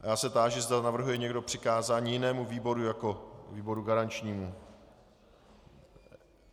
Já se táži, zda navrhuje někdo přikázání jinému výboru jako výboru garančnímu.